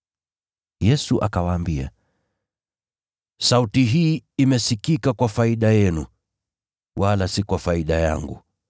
Yesu akawaambia, “Sauti hii imesikika kwa faida yenu, wala si kwa faida yangu.